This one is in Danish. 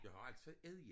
Jeg har altid sagt æddja